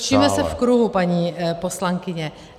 Točíme se v kruhu, paní poslankyně.